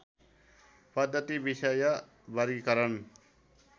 पद्धति विषय वर्गीकरण